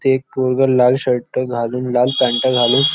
ते एक पोरग लाल शर्ट घालून लाल पॅनटा घालून--